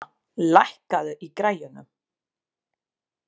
Sunna, lækkaðu í græjunum.